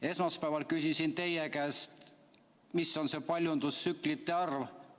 Esmaspäeval küsisin teie käest, mis on see paljundustsüklite arv.